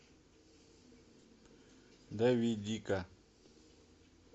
давидика